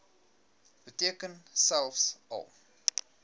beteken selfs al